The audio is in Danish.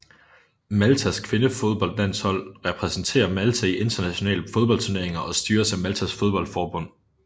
Maltas kvindefodboldlandshold repræsenterer Malta i internationale fodboldturneringer og styres af Maltas fodboldforbund